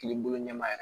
K'i bolo ɲɛma yɛrɛ